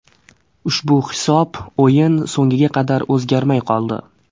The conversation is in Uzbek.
Ushbu hisob o‘yin so‘ngiga qadar o‘zgarmay qoldi.